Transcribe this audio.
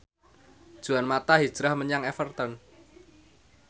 Juan mata hijrah menyang Everton